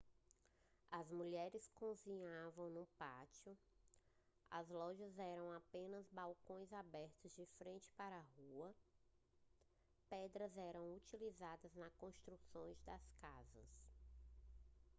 as mulheres cozinhavam no pátio as lojas eram apenas balcões abertos de frente para a rua pedras eram utilizadas na construção das casas